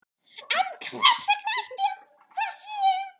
En hvers vegna ætli það sé?